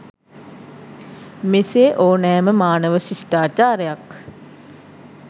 මෙසේ ඕනෑම මානව ශිෂ්ටාචාරයක්